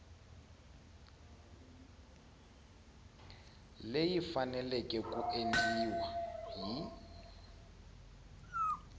leyi faneleke ku endliwa hi